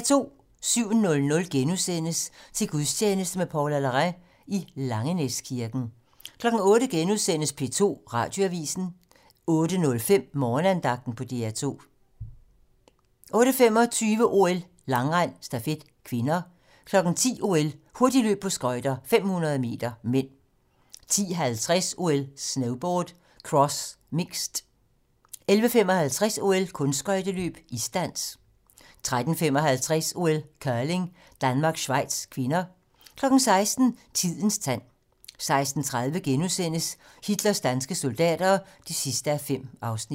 07:00: Til gudstjeneste med Paula Larrain i Langenæskirken * 08:00: P2 Radioavisen * 08:05: Morgenandagten på DR2 08:25: OL: Langrend - stafet (k) 10:00: OL: Hurtigløb på skøjter - 500 m (m) 10:50: OL: Snowboard - cross, mixed 11:55: OL: Kunstskøjteløb - isdans 13:55: OL: Curling - Danmark-Schweiz (k) 16:00: Tidens tegn 16:30: Hitlers danske soldater (5:5)*